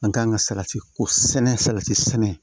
An kan ka salati ko sɛnɛ salati sɛnɛ